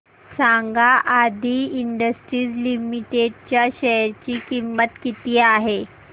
सांगा Aadi industries limited च्या share ची किंमत किती आहे